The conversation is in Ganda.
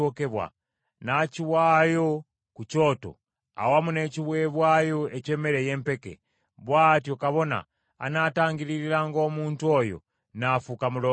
n’akiwaayo ku kyoto awamu n’ekiweebwayo eky’emmere ey’empeke. Bw’atyo kabona anaatangiririranga omuntu oyo, n’afuuka mulongoofu.